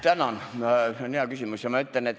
Tänan, see on hea küsimus!